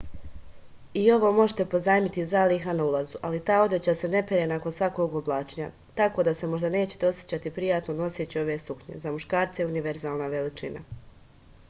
i ovo možete pozajmiti iz zaliha na ulazu ali ta odeća se ne pere nakon svakog oblačenja tako da se možda nećete osećati prijatno noseći ove suknje za muškarce je univerzalna veličina